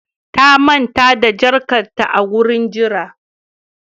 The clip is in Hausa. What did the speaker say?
Ta manta da jakarta a wurin jira